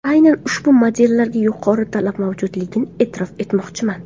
Aynan ushbu modellarga yuqori talab mavjudligini e’tirof etmoqchiman.